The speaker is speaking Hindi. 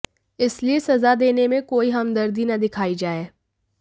इसलिए सजा देने में कोई हमदर्दी न दिखाई जाए